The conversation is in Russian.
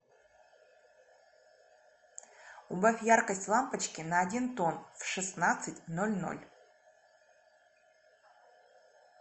убавь яркость лампочки на один тон в шестнадцать ноль ноль